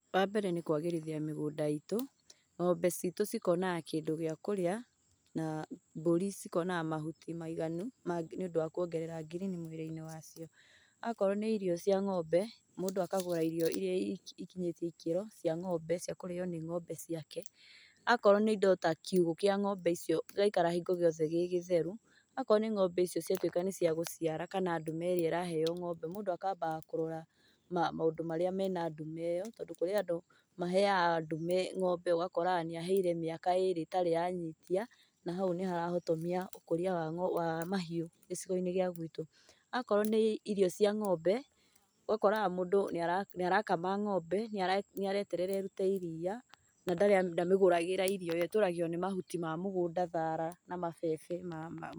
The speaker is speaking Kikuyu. Wa mbere nĩ kwagĩrithia mũgũnda itũ, ng'ombe citũ cikonaga kĩndũ gĩa kũrĩa na mbũri cikonaga mahuti maiganu nĩ ũndũ wa kuongerera girini mũĩri-inĩ wacio. Akorwo nĩ irio cia ng'ombe mũndũ akagũra irio iria ikinyĩtie ikĩro cia ng'ombe cia kũrĩyo nĩ ng'ombe ciake. Akorwo nĩ indo ta kiugũ kĩa ng'ombe icio gĩgaikara hingo ciothe gĩgĩtheru. Akorwo nĩ ng'ombe icio ciatuĩka nĩ cĩa gũciara kana ndume ĩrĩa ĩraheyo ng'ombe, mũndũ akambaga kũrora maũndũ marĩa mena ndume ĩyo tondũ kũrĩ andũ maheyaga ndume ng'ombe ũgakoraga nĩ aheire mĩaka ĩrĩ ĩtarĩ yanyitia na hau nĩ harahotomia ũkũria wa mahĩũ gĩcigo-inĩ gĩa gwitũ. Akorwo nĩ irio cia ng'ombe ũgakoraga mũndũ nĩ arakama ng'ombe nĩ areterera ĩrute ĩriya na ndamĩgũragĩra irio, yo ĩtũragio nĩ mahuti ma mũgũnda, thara na mabebe.